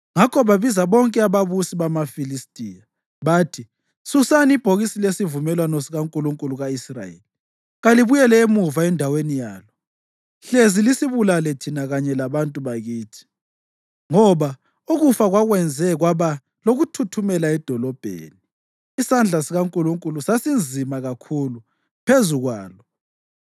Ngakho babiza bonke ababusi bamaFilistiya, bathi, “Susani ibhokisi lesivumelwano sikankulunkulu ka-Israyeli; kalibuyele emuva endaweni yalo, hlezi lisibulale thina kanye labantu bakithi.” Ngoba ukufa kwakwenze kwaba lokuthuthumela edolobheni; isandla sikaNkulunkulu sasinzima kakhulu phezu kwalo.